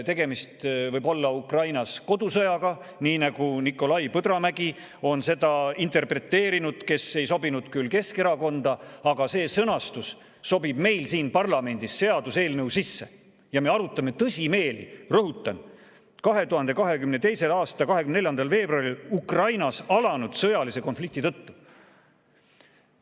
Tegemist võib olla Ukrainas kodusõjaga, nii nagu on seda interpreteerinud Nikolai Põdramägi, kes ei sobinud küll Keskerakonda, aga see sõnastus sobib meil siin parlamendis seaduseelnõu sisse ja me arutame seda tõsimeeli, rõhutan: 2022. aasta 24. veebruaril Ukrainas alanud sõjalise konflikti tõttu.